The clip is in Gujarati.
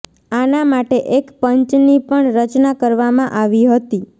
આના માટે એક પંચની પણ રચના કરવામાં આવી હતી